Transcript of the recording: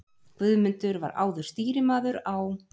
Guðmundur var áður stýrimaður á